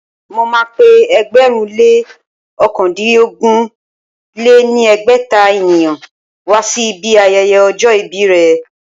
Mo ma pé ẹgbẹ̀rún lé ókàndínogún lé ní ẹgbẹ́ta ènìyàn wá sí ibi ayẹyẹ ọjọ́ ìbí rẹ̀